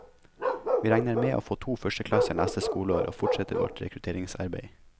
Vi regner med å få to førsteklasser neste skoleår og fortsetter vårt rekrutteringsarbeid.